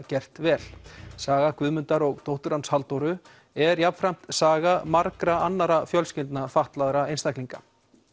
gert vel saga Guðmundar og dóttur hans Halldóru er jafnframt saga margra fjölskyldna fatlaðra einstaklinga